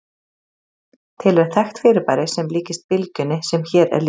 Til er þekkt fyrirbæri sem líkist bylgjunni sem hér er lýst.